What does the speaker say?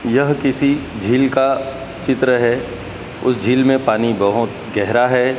यह किसी झील का चित्र है उस झील में पानी बहोत गहरा है।